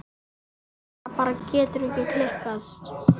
Þetta er kannski klisja.